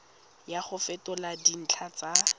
ya go fetola dintlha tsa